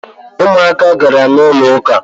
Umuaka gara n’ụlọụka